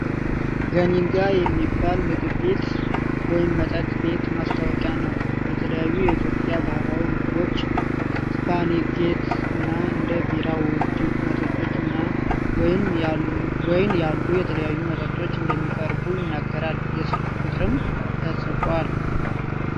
"ገኒጋ" የሚባል ምግብ ቤት ወይም መጠጥ ቤት ማስታወቂያ ነው ። የተለያዩ የኢትዮጵያ ባህላዊ ምግቦች፣ ስፓጌቲ እና እንደ ቢራ፣ ውድ መጠጦች እና ወይን ያሉ የተለያዩ መጠጦች እንደሚቀርቡ ይናገራል። የስልክ ቁጥርም ተጽፏል።